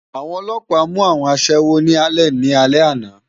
Awòn òlòpá mú áwòn aṣèwó ni Álèn ni álè àná